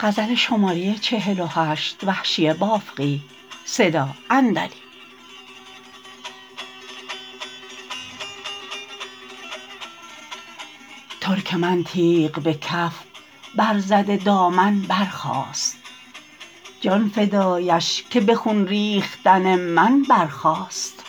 ترک من تیغ به کف بر زده دامن برخاست جان فدایش که به خون ریختن من برخاست